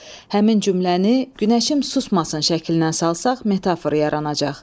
Həmin cümləni günəşim susmasın şəklinə salsaq metafor yaranacaq.